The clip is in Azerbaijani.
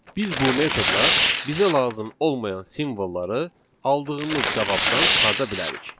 Biz bu metodla bizə lazım olmayan simvolları aldığımız cavabdan çıxarda bilərik.